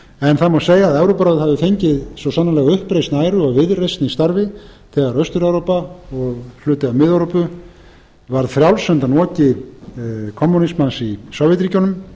en það má segja að evrópuráðið hafi fengið svo sannarlega uppreisn æru og viðreisn í starfi þegar austur evrópa og hluti af mið evrópu varð frjáls undan oki kommúnismans í sovétríkjunum